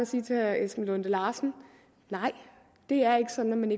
sige til herre esben lunde larsen nej det er ikke sådan